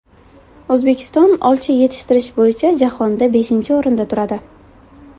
O‘zbekiston olcha yetishtirish bo‘yicha jahonda beshinchi o‘rinda turadi.